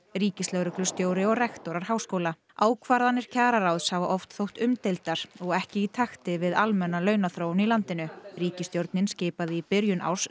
ríkislögreglustjóri og rektorar háskóla ákvarðanir kjararáðs hafa oft þótt umdeildar og ekki í takti við almenna launaþróun í landinu ríkisstjórnin skipaði í byrjun árs